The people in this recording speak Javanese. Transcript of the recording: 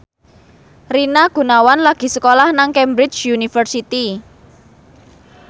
Rina Gunawan lagi sekolah nang Cambridge University